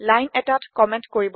line এটাত comment কৰিবলৈ